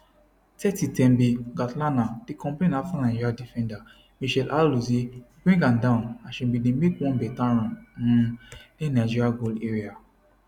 30 thembi kgatlana dey complain afta nigeria defender mitchelle alozie bring her down as she bin dey make one beta run um near nigeria goal area